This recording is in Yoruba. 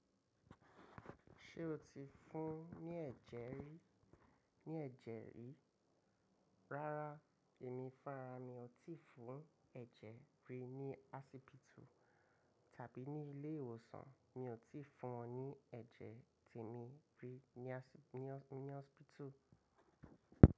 Ṣé o ti fún ní ẹ̀jẹ̀ rí ní ẹ̀jẹ̀ rí? Rárá, èmi fúnra mi ò tíì fún ẹ̀jẹ̀ rí ní hospital tàbí ní ilé ìwòsàn mi ò tíì fún wọn ní ẹ̀jẹ̀ tí èmi rí ní hospital.